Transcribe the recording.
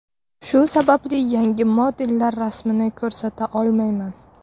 Shu sababli yangi modellar rasmlarini ko‘rsata olmayman.